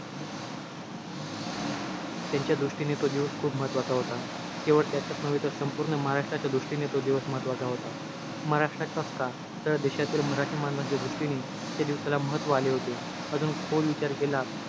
त्यांच्या दृष्टीने तो दिवस खूप महत्वाचा होता. केवळ त्याच्याच नव्हे तर, संपूर्ण महाराष्ट्राच्या दृष्टीने तो दिवस महत्वाचा होता. महाराष्ट्राचाच का, तर देशातील मराठी माणसांच्या दृष्टीने, त्या दिवसाला महत्व आले होते. अजून खोल विचार केला,